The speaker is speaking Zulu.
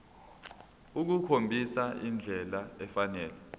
ukukhombisa indlela efanele